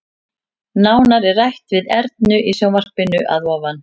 Nánar er rætt við Ernu í sjónvarpinu að ofan.